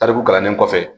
Tariku kalanden kɔfɛ